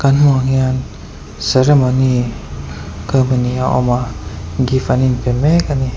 kan hmuh ang hian ceremony awm a gift an inpe mek a ni.